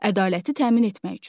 Ədaləti təmin etmək üçün.